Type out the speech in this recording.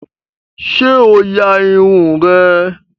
Sé o ya Irun rẹ?